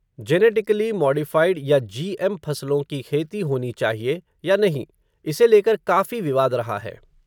Genetically modified या GM फ़सलों की खेती होनी चाहिए, या नहीं, इसे लेकर काफ़ी विवाद रहा है.